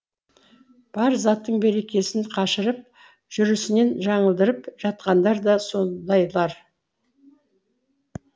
бар заттың берекесін қашырып жүрісінен жаңылдырып жатқандар да сондайлар